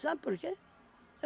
Sabe por quê?